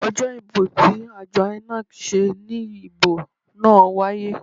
Ojo ibo ti ajo INEC se ni ibo naa waye.